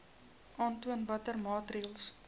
aantoon watter maatreëls